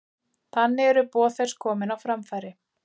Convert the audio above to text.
Þannig eru boð þess komin á framfæri.